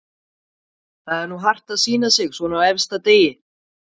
Það er nú hart að sýna sig svona á efsta degi.